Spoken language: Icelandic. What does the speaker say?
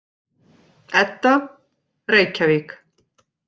Edda: Reykjavík.